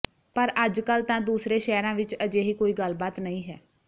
ਪਰ ਅੱਜਕੱਲ੍ਹ ਤਾਂ ਦੂਸਰੇ ਸ਼ਹਿਰਾਂ ਵਿੱਚ ਅਜਿਹੀ ਕੋਈ ਗੱਲ ਬਾਤ ਨਹੀਂ ਹੈ